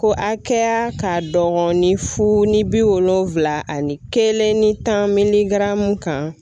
Ko hakɛya ka dɔgɔ ni fu ni bi wolonfila ani kelen ni tan miligaramu kan.